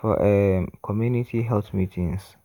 for um community health meetings.